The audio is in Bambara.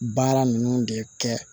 Baara ninnu de kɛ